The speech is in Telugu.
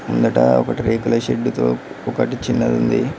ముందట ఒకటి రేకుల షెడ్డుతో ఒకటి చిన్నదుంది.